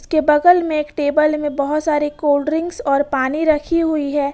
के बगल में एक टेबल में बहुत सारे कोल्डड्रिंकस और पानी रखी हुई है।